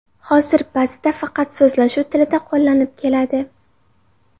Hozir ba’zida faqat so‘zlashuv tilida qo‘llanib keladi.